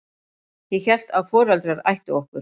Ég hélt að foreldrar ættu okkur.